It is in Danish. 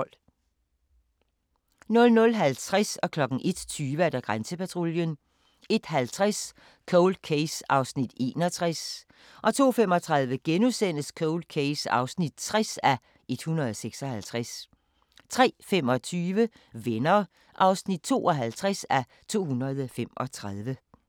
00:50: Grænsepatruljen 01:20: Grænsepatruljen 01:50: Cold Case (61:156) 02:35: Cold Case (60:156)* 03:25: Venner (52:235)